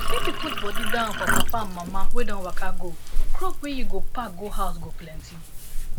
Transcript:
if you put body down for papa and mama wey don waka go crop wey you go pack go house go plenty